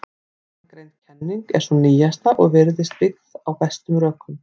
Ofangreind kenning er sú nýjasta og virðist byggð á bestum rökum.